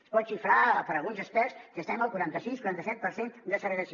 es pot xifrar per alguns experts que estem al quaranta sis quaranta set per cent de segregació